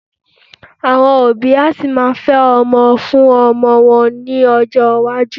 Àwọn òbí a sì máa fẹ́ ọmọ fún ọmọ wọn lọ́jọ́ iwájú